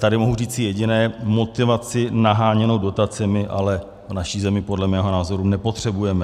Tady mohu říci jediné: motivaci naháněnou dotacemi ale v naší zemi podle mého názoru nepotřebujeme.